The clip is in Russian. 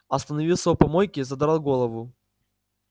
остановился у помойки задрал голову